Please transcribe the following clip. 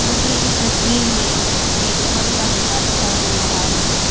मुझे इस तस्वीर में एक फल का दुकान दिखाई दे रहा है।